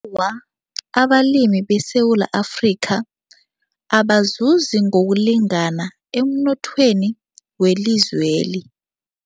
Awa, abalimi beSewula Afrika abazuzi ngokulingana emnothweni welizweli.